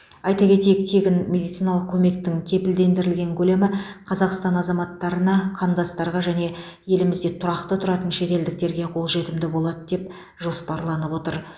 айта кетейік тегін медициналық көмектің кепілдендірілген көлемі қазақстан азаматтарына қандастарға және елімізде тұрақты тұратын шетелдіктерге қолжетімді болады деп жоспарланып отыр